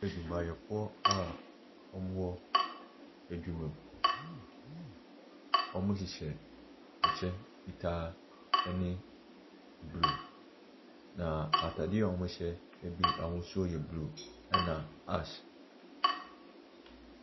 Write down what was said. Adwumayɛfoɔ a wɔwɔ adwuma mu. Wɔhyehyɛ ɛkyɛ fitaa ɛne blue. Na ataadeɛ a wɔhyɛ ɛbi ahosuo ɛyɛ blue ɛna ash.